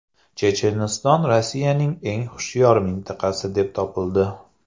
Checheniston Rossiyaning eng hushyor mintaqasi deb topildi.